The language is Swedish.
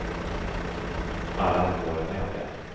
Alla har vi varit med om det.